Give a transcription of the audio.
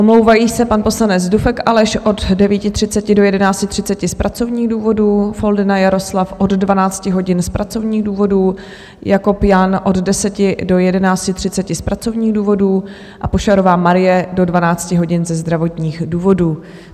Omlouvají se pan poslanec Dufek Aleš od 9.30 do 11.30 z pracovních důvodů, Foldyna Jaroslav od 12 hodin z pracovních důvodů, Jakob Jan od 10 do 11.30 z pracovních důvodů a Pošarová Marie do 12 hodin ze zdravotních důvodů.